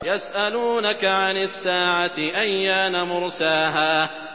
يَسْأَلُونَكَ عَنِ السَّاعَةِ أَيَّانَ مُرْسَاهَا